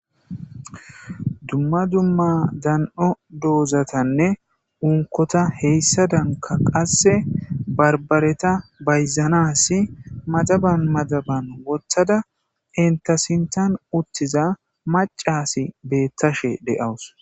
dumma dumma dan7o doozatanne unkota heyssadanka qasse barbareta bayzanasi madaban madaban wothada entasintan uttiza macasi beettashe de7awus